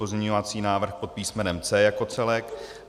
Pozměňovací návrh pod písmenem C jako celek.